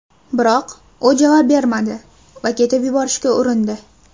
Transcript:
Biroq u javob bermadi va ketib yuborishga urindi.